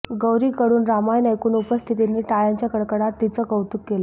गौरीकडून रामायण ऐकून उपस्थितांनी टाळ्यांच्या कडकडाट तिचं कौतुक केलं